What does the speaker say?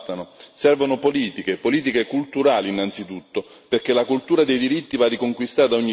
Servono politiche, politiche culturali innanzitutto, perché la cultura dei diritti va riconquistata ogni giorno.